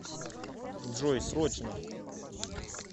джой срочно